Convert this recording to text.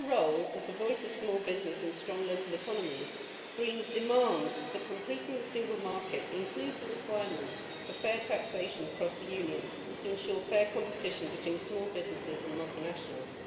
In our role as the voice of small business and strong local economies, Greens demand that completing the single market should include the requirement of fair taxation across the Union, to ensure fair competition between small businesses and multinationals.